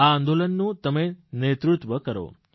આ આંદોલનનું તમે નેતૃત્વ કરો